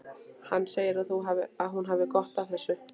Hann segir að hún hafi gott af þessu.